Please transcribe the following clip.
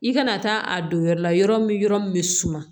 I kana taa a don yɔrɔ la yɔrɔ min yɔrɔ min bɛ suma